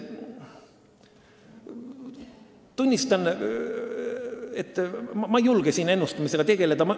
Tunnistan, et ma ei julge siin ennustamisega tegeleda.